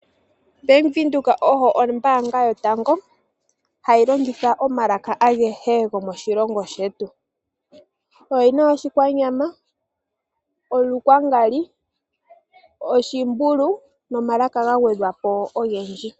Bank Windhoek oyo ombaanga yotango hayi longitha omalaka agehe gomoshilongo shetu. Oyi Oshikwanyama, Olukwangali, Oshimbulu nomalaka ga gwedhwa po ogendji.